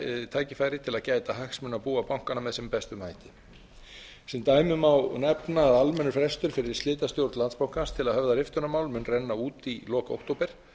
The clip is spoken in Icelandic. tækifæri til að gæta hagsmuna búa bankanna með sem bestum hætti sem dæmi má nefna að almennur frestur fyrir slitastjórn landsbankans til að höfða riftunarmál mun renna út í lok október en